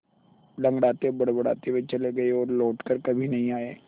लँगड़ाते बड़बड़ाते वे चले गए और लौट कर कभी नहीं आए